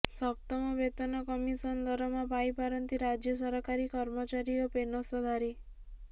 ସପ୍ତମ ବେତନ କମିଶନ ଦରମା ପାଇପାରନ୍ତି ରାଜ୍ୟ ସରକାରୀ କର୍ମଚାରୀ ଓ ପେନସଧାରୀ